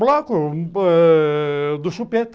Bloco ãh do chupeta.